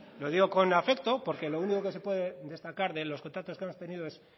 lo digo con afecto porque lo único que se puede destacar de los contactos que hemos tenido es